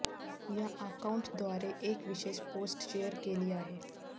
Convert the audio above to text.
या अकाऊंटद्वारे एक विशेष पोस्ट शेअर केली आहे